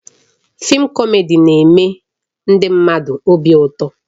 Fịịm kọmedi na-eme ndị mmadụ obi ụtọ